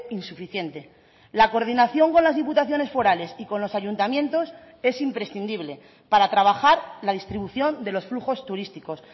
insuficiente la coordinación con las diputaciones forales y con los ayuntamientos es imprescindible para trabajar la distribución de los flujos turísticos